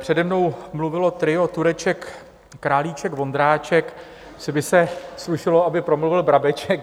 Přede mnou mluvilo trio Tureček, Králíček, Vondráček, asi by se slušelo, aby promluvil Brabeček.